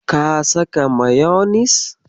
Ka saka mayonis?